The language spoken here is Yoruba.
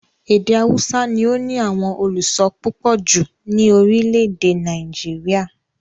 Èdè haúsá ni ó ní àwọn olùso púpọ̀ jù ní orílẹ̀-èdè Nàìjíríà.